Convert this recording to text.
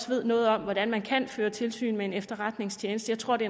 ved noget om hvordan man kan føre tilsyn med en efterretningstjeneste jeg tror det